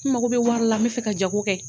N mago bɛ wari la n bɛ fɛ ka jago kɛ.